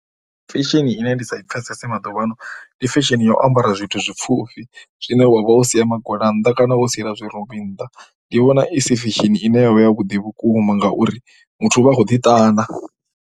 Fashion ine ndi sa i pfhesese maḓuvhaano ndi fashion ya u ambara zwithu zwi pfhufhi zwine wa vha wo sia magona nnḓa kana wo siela zwirumbi nnḓa. Ndi vhona i si fashion ine ya vha yavhuḓi vhukuma ngauri muthu u vha a khou ḓiṱana.